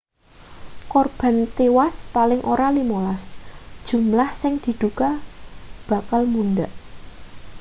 korban tiwas paling ora 15 jumlah sing diduga bakal mundhak